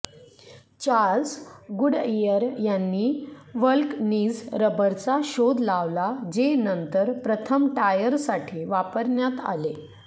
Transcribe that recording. Charles Goodyear यांनी vulcanise रबरचा शोध लावला जे नंतर प्रथम टायर्ससाठी वापरण्यात आले